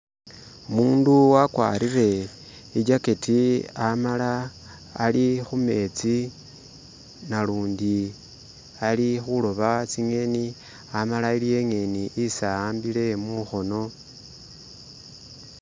Umundu wagwarile ijacketi amala ali khumetsi nalundi ali khuloba tsingeni amala aliwo ingeni isi ahambile mungono.